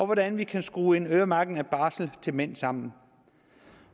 hvordan vi kan skrue en øremærkning af barslen til mænd sammen